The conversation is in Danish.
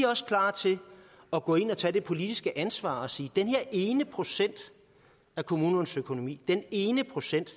også klar til at gå ind og tage det politiske ansvar og sige den her ene procent af kommunernes økonomi den ene procent